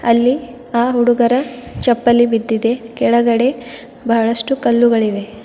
ಅಲ್ಲಿ ಆ ಹುಡುಗರ ಚಪ್ಪಲಿ ಬಿದ್ದಿದೆ ಕೆಳಗಡೆ ಬಹಳಷ್ಟು ಕಲ್ಲುಗಳಿವೆ.